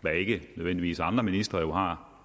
hvad ikke nødvendigvis andre ministre har